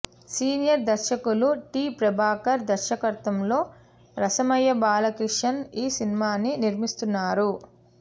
senior దర్శకులు T Prabhakar దర్శకత్వంలో రసమయి బాలకిషన్ ఈ సినిమాని నిర్మిస్తున్నారు